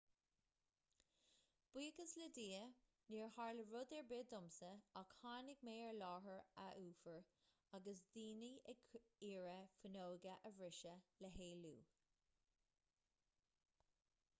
buíochas le dia níor tharla rud ar bith domsa ach tháinig mé ar láthair adhfhuafar agus daoine ag iarraidh fuinneoga a bhriseadh le héalú